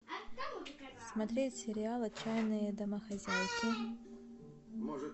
смотреть сериал отчаянные домохозяйки